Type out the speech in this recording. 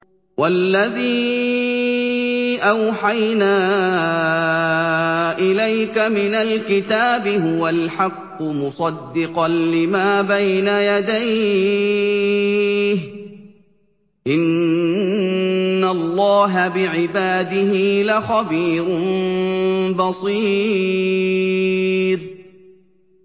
وَالَّذِي أَوْحَيْنَا إِلَيْكَ مِنَ الْكِتَابِ هُوَ الْحَقُّ مُصَدِّقًا لِّمَا بَيْنَ يَدَيْهِ ۗ إِنَّ اللَّهَ بِعِبَادِهِ لَخَبِيرٌ بَصِيرٌ